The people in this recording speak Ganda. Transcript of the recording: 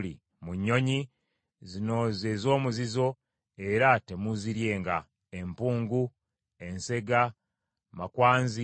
“Mu nnyonyi, zino ze z’omuzizo era temuuziryenga: empungu, ensega, makwanzi,